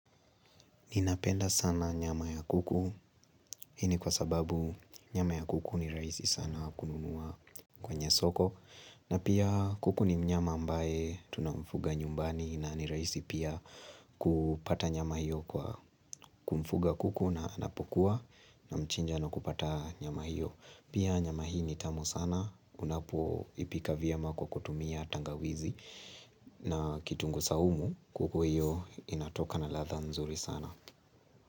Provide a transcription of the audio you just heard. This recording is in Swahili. Ninapenda sana nyama ya kuku, hii ni kwa sababu nyama ya kuku ni rahisi sana kununua kwenye soko, na pia kuku ni mnyama ambaye tunamfuga nyumbani na ni rahisi pia kupata nyama hiyo kwa kumfuga kuku na anapokua na mchinja na kupata nyama hiyo. Pia nyama hii nitamu sana, unapo ipika vyema kwa kutumia tangawizi na kitunguu saumu. Kuku hiyo inatoka na radha mzuri sana.